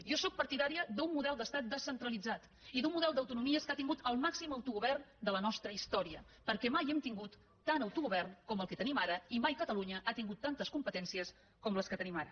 jo sóc partidària d’un model d’estat descentralitzat i d’un model d’autonomies que ha tingut el màxim autogovern de la nostra història perquè mai hem tingut tant autogovern com el que tenim ara i mai catalunya ha tingut tantes competències com les que tenim ara